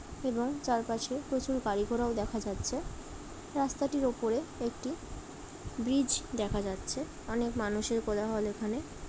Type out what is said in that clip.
এবং চারিপাশে প্রচুর গাড়ি ঘোড়াও দেখা যাচ্ছে। রাস্তাটির ওপরে একটি ব্রিজ দেখা যাচ্ছে। অনেক মানুষের কোলাহল এখানে।